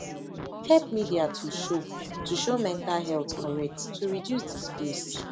help media to show to show mental health correct to reduce disgrace